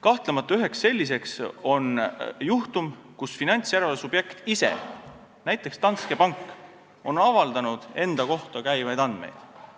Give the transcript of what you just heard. Kahtlemata on üks selliseid juhtum, kui finantsjärelevalve subjekt ise, näiteks Danske pank, on ise enda kohta käivaid andmeid avaldanud.